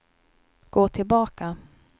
gå tillbaka